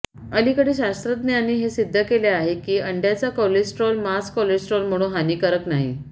अलीकडे शास्त्रज्ञांनी हे सिद्ध केले आहे की अंड्याचा कोलेस्टेरॉल मांस कोलेस्टरॉल म्हणून हानिकारक नाही